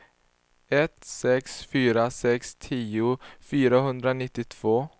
ett sex fyra sex tio fyrahundranittiotvå